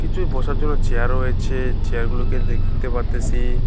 নিশ্চয়ই বসার জন্য চেয়ার রয়েছে চেয়ার গুলোকে দেখতে পারতেসি।